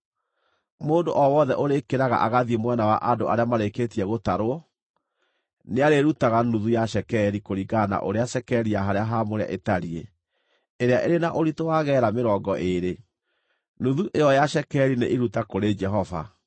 Mũndũ o wothe ũrĩkĩraga agathiĩ mwena wa andũ arĩa marĩkĩtie gũtarwo, nĩarĩrutaga nuthu ya cekeri kũringana na ũrĩa cekeri ya harĩa haamũre ĩtariĩ ĩrĩa ĩrĩ na ũritũ wa geera mĩrongo ĩĩrĩ. Nuthu ĩyo ya cekeri nĩ iruta kũrĩ Jehova.